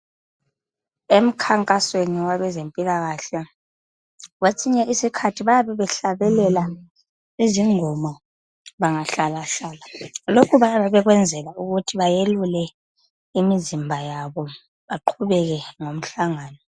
Emkhankasweni wakwezempilakahle kwesinye isikhathi bayabe behlabelela izingoma bengahlala hlala lokhu bayabe bekwenzela ukuthi bayelule imizimba yabo baqhubeke ngomhlangano.